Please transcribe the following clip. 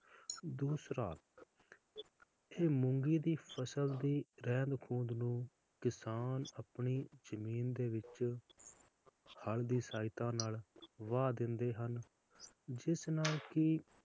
ਦੂਸਰਾ ਜੇ ਮੂੰਗੀ ਦੀ ਫਸਲ ਦੀ ਰਹਿੰਦ ਖੂੰਦ ਨੂੰ ਕਿਸਾਨ ਆਪਣੀ ਜਮੀਨ ਦੇ ਵਿਚ ਹਲ ਦੀ ਸਹਾਇਤਾ ਨਾਲ ਵਾਹ ਦਿੰਦੇ ਹਨ ਜਿਸ ਨਾਲ ਕਿ,